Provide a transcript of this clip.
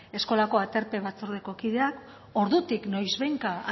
eskolako aterpe batzordeko kideak ordutik noizbehinka